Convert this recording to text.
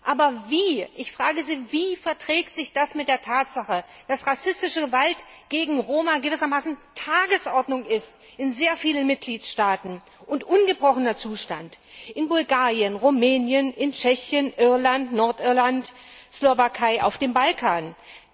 Aber ich frage Sie Wie verträgt sich das mit der Tatsache, dass rassistische Gewalt gegen Roma gewissermaßen an der Tagesordnung in sehr vielen Mitgliedstaaten und ungebrochener Zustand in Bulgarien, Rumänien, Tschechien, Irland, Nordirland, der Slowakei oder auf dem Balkan ist?